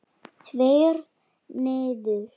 Tveir niður.